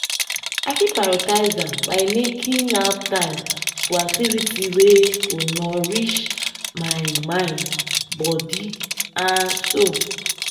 i fit prioritize am by making out time for activities wey go nourish my mind body and soul.